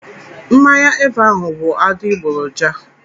Mmanya Eva ahụ bụ adigboroja!